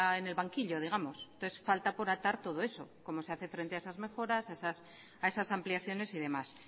en el banquillo digamos entonces falta por atar todo eso cómo se hace frente a esas mejoras a esas ampliaciones y demás